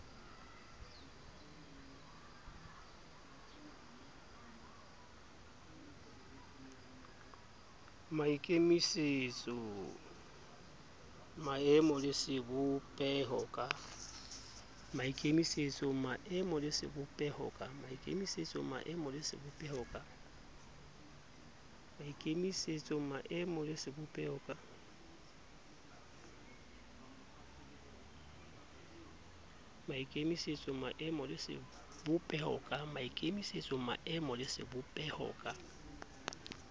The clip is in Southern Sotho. maikemisetso maemo le sebopeho ka